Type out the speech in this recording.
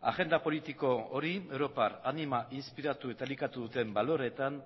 agenda politiko hori europar anima inspiratu eta elikatu duten baloreetan